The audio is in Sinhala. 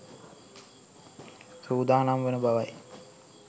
සූදානම් වන බවයි.